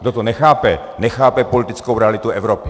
Kdo to nechápe, nechápe politickou realitu Evropy.